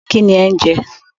Kíni ẹ̀ ń jẹ?